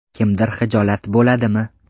Kimdir xijolat bo‘ladimi?.